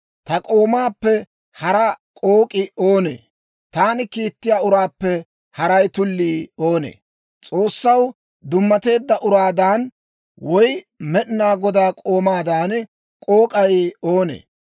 Ta k'oomaappe hara k'ook'ii oonee? Taani kiittiyaa uraappe hara tullii oonee? S'oossaw dummateedda uraadan, woy Med'inaa Godaa k'oomaadan k'ook'ay oonee?